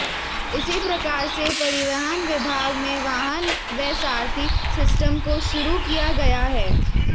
इसी प्रकार से परिवहन विभाग में वाहन व सारथी सिस्टम को शुरू किया गया है